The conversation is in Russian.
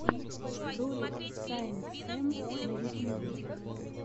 ролик саинтсэм на ютюбе